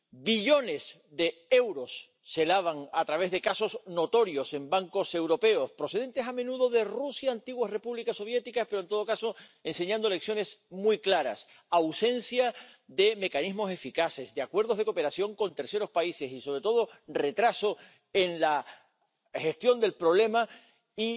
Billones de euros se lavan a través de casos notorios en bancos europeos —procedentes, a menudo, de Rusia, de las antiguas repúblicas soviéticas—, pero, en todo caso, enseñando lecciones muy claras ausencia de mecanismos eficaces, de acuerdos de cooperación con terceros países y, sobre todo, retraso en la gestión del problema y